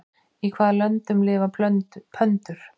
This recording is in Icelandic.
Í hvaða löndum lifa pöndur?